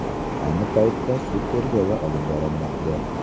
Ayni paytda sud tergovi olib borilmoqda.